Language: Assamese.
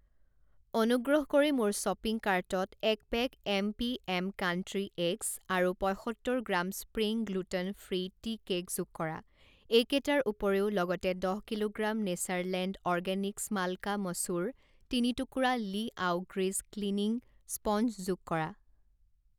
অনুগ্ৰহ কৰি মোৰ শ্বপিং কাৰ্টত এক পেক এমপিএম কাণ্ট্ৰী এগছ আৰু পঁইসত্তৰ gram spring gluten free tea cake যোগ কৰা। এইকেইটাৰ উপৰিও, লগতে দহ kilogram Natureland organics malka masoor, তিনি টুকুৰা লিআও গ্ৰীজ ক্লিনিং স্পঞ্জ যোগ কৰা।